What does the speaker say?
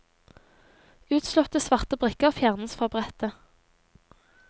Utslåtte svarte brikker fjernes fra brettet.